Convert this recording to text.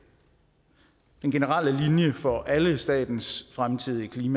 den generelle linje for alle statens fremtidige